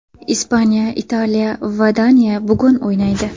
Ispaniya, Italiya va Daniya bugun o‘ynaydi.